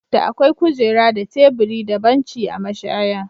Da akwai kujera da teburi da banci a mashaya.